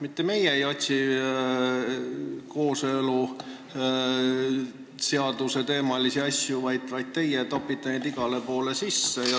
Mitte meie ei otsi kooseluseaduse teemaga seotud asju, vaid teie topite neid igale poole sisse.